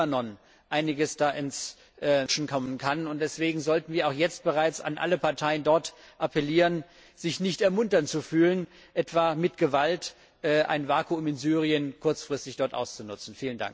im Libanon Einiges ins Rutschen kommen kann, und deswegen sollten wir auch jetzt bereits an alle Parteien dort appellieren, sich nicht ermuntert zu fühlen, etwa mit Gewalt ein Vakuum in Syrien kurzfristig auszunutzen.